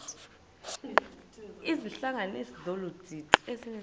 izihlanganisi zolu didi